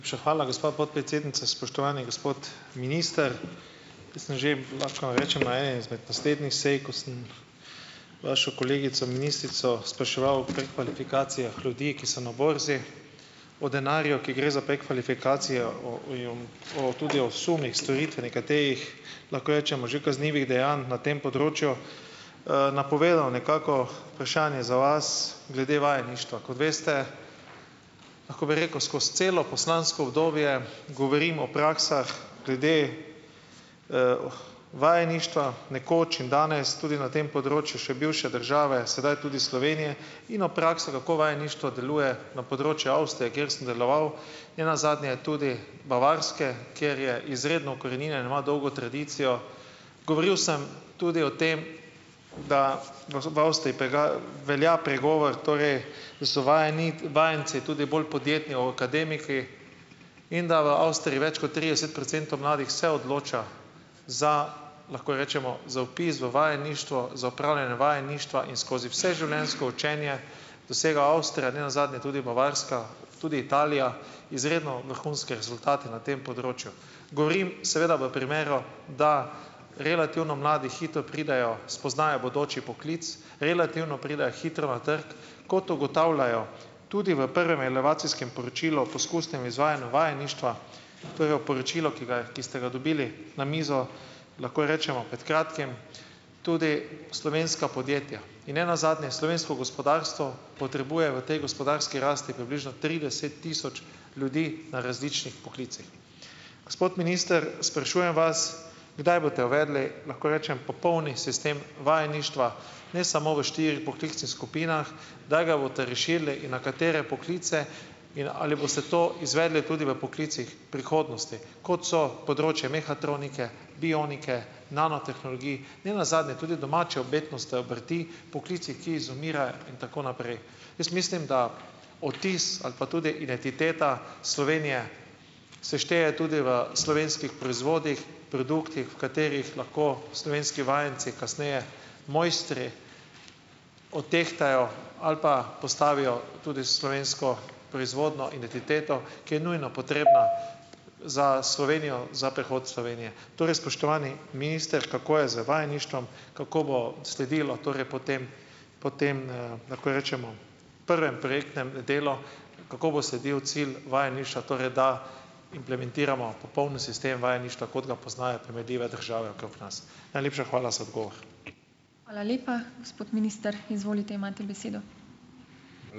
hvala gospa podpredsednica, spoštovani gospod minister. Ker sem že, lahko vam rečem, na eni izmed doslejšnjih sej, ko sem vašo kolegico ministrico spraševal o prekvalifikacijah ljudi, ki so na borzi o denarju, ki gre za prekvalifikacijo o o, tudi o sumih storitve nekaterih lahko rečemo že kaznivih dejanj na tem področju. napovedano nekako vprašanje za vas glede vajeništva. Kot veste, lahko bi rekel, skozi celo poslansko obdobje govorim o praksah glede, vajeništva nekoč in danes, tudi na tem področju še bivše države, sedaj tudi Slovenije in o prakso kako vajeništvo deluje na področju Avstrije, kjer sem deloval, nenazadnje tudi Bavarske, kjer je izredno ukoreninjena, ima dolgo tradicijo. Govoril sem tudi o tem, da, pravzaprav ste velja pregovor, torej so vajenci tudi bolj podjetni o akademiki, in da v Avstriji več kot trideset procentov mladih se odloča za, lahko rečemo, za vpis v vajeništvo, za opravljanje vajeništva in skozi vse življenjsko učenje dosega Avstrija, ne nazadnje tudi Bavarska, tudi Italija, izredno vrhunske rezultate na tem področju. Govorim seveda v primeru, da relativno mladi hitro pridejo, spoznajo bodoči poklic, relativno pridejo hitro na trg, kot ugotavljajo tudi v prvem relevacijskem poročilu o poskusnem izvajanju vajeništva, torej o poročilu, ki ki ste ga dobili na mizo, lahko rečemo, pred kratkim, tudi slovenska podjetja. In nenazadnje, slovensko gospodarstvo potrebuje v tej gospodarski rasti približno trideset tisoč ljudi na različnih poklicih. Gospod minister, sprašujem vas, kdaj boste uvedli, lahko rečem popolni sistem vajeništva, ne samo v štirih poklicnih skupinah, kdaj ga boste razširili in na katere poklice in ali boste to izvedli tudi v poklicih prihodnosti, kot so področje mehatronike, bionike, nanotehnologij, nenazadnje tudi domače umetnosti, obrti, poklici, ki izumirajo, in tako naprej. Jaz mislim, da vtis ali pa tudi identiteta Slovenije se šteje tudi v slovenskih proizvodih, produktih, v katerih lahko slovenski vajenci, kasneje mojstri, odtehtajo ali pa postavijo tudi slovensko proizvodnjo identiteto, ki je nujno potrebna za Slovenijo, za prihod Slovenije. Torej, spoštovani minister, kako je z vajeništvom, kako bo sledilo torej potem, potem, lahko rečemo, prvemu projektnemu, delu, kako bo sledil cilj vajeništva, torej da implementiramo popoln sistem vajeništva, kot ga poznajo primerljive države okrog nas. Najlepša hvala za odgovor. Hvala lepa. Gospod minister, izvolite, imate besedo.